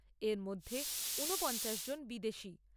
এরমধ্যে উনপঞ্চাশ জন বিদেশী।